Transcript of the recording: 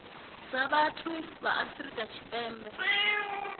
dza vhathu ya afrika tshipembe